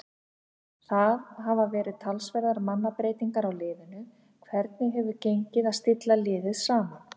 Það hafa verið talsverðar mannabreytingar á liðinu, hvernig hefur gengið að stilla liðið saman?